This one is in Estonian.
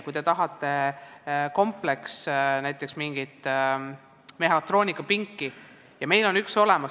Kui te tahate saada näiteks mingit mehhatroonikapinki, siis meil on üks olemas.